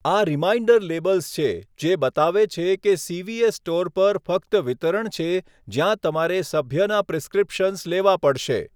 આ reminder labels છે જે બતાવે છે કે સીવીએસ સ્ટોર પર ફક્ત વિતરણ છે જ્યાં તમારે સભ્યના પ્રિસ્ક્રિપ્શન્સ લેવા પડશે.